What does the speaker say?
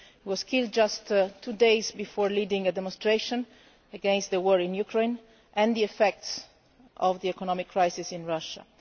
He was killed just two days before leading a demonstration against the war in Ukraine and the effects of the economic crisis in Russia.